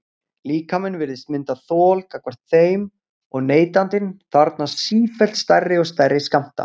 Líkaminn virðist mynda þol gagnvart þeim og neytandinn þarfnast sífellt stærri og stærri skammta.